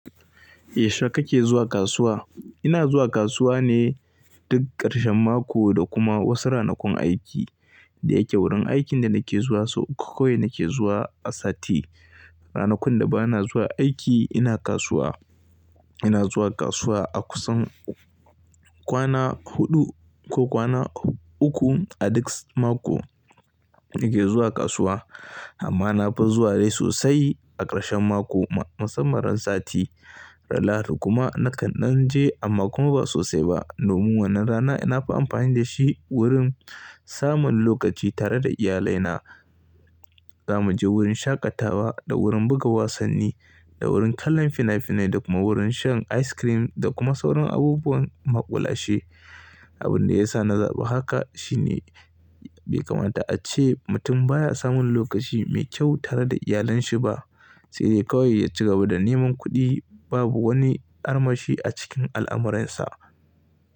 Yaushe kake zuwa kasuwa? Ina zuwa kasuwa ne duk ƙarshen mako da kuma wasu ranakun aiki. Da yake wurin aikin da nake zuwa sau uku kawai nake zuwa a sati. Ranakun da ba na zuwa aiki ina kasuwa. Ina zuwa kasuwa a kusan kwana huɗu ko kwana uku a duk mako nake zuwa kasuwa amma na fi zuwa dai sosai a ƙarshen mako. Musamman ran sati. Ran Lahadi kuma nakan je amma kuma ba sosai ba. Domin wannan rana ina fi amfani da shi wurin samun lokaci tare da iyalai na. Za mu je wurin shaƙatawa da wurin buga wasanni da wurin kallon fina-finai da kuma wurin shan ice cream da kuma sauran abubuwan maƙulashe. Abun da ya sa na zaɓa haka shine bai kamata a ce mutum baya samun lokaci mai kyau tare da iyalanshi ba. Sai dai kawai ya ci gaba da neman kuɗi babu wani armashi a cikin al'amuransa.